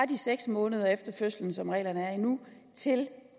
de seks måneder efter fødslen som reglerne er nu til